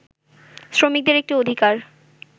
শ্রমিকদের একটি অধিকার